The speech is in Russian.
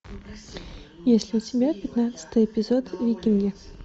есть ли у тебя пятнадцатый эпизод викинги